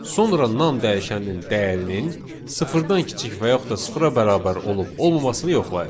Sonra nan dəyişəninin dəyərinin sıfırdan kiçik və yaxud da sıfıra bərabər olub olmamasını yoxlayır.